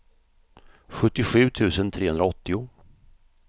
sjuttiosju tusen trehundraåttio